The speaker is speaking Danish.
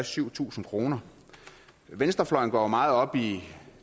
syv tusind kroner venstrefløjen går jo meget op i